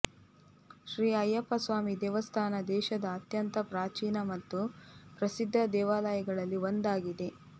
ಶ್ರೀ ಅಯ್ಯಪ್ಪ ಸ್ವಾಮಿ ದೇವಸ್ಥಾನ ದೇಶದ ಅತ್ಯಂತ ಪ್ರಾಚೀನ ಮತ್ತು ಪ್ರಸಿದ್ಧ ದೇವಾಲಯಗಳಲ್ಲಿ ಒಂದಾಗಿದೆ